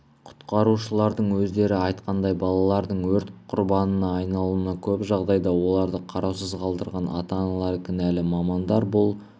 құтқарушылардың өздері айтқандай балалардың өрт құрбанына айналуына көп жағдайда оларды қараусыз қалдырған ата-аналары кінәлі мамандар бұл